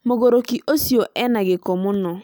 Mũgurũkĩ ũcĩo ena gĩku mũno